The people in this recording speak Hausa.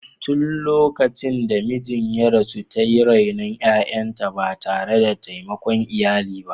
Tun lokacin da mijinta ya rasu, ta yi renon ’ya’yanta ba tare da taimakon iyali ba.